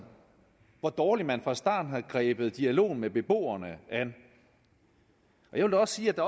hvor dårligt man fra starten har grebet dialogen med beboerne an jeg vil også sige at